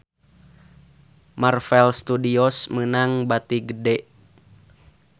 Marvel Studios meunang bati gede